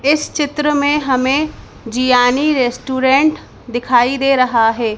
इस चित्र में हमें जियानी रेस्टोरेंट दिखाई दे रहा है।